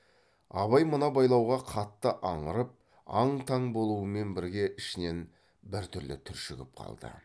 абай мына байлауға қатты аңырып аң таң болумен бірге ішінен біртүрлі түршігіп қалды